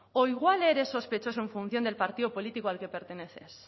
o igual eres sospechoso en función del partido político al que perteneces